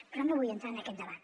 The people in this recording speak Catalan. però no vull entrar en aquest debat